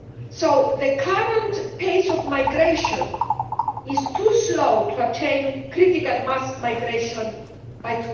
So the current pace of migration is too slow to attain critical mass migration by